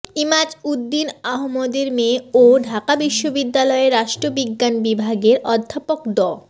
এমাজউদ্দীন আহমদের মেয়ে ও ঢাকা বিশ্ববিদ্যালয়ের রাষ্ট্রবিজ্ঞান বিভাগের অধ্যাপক ড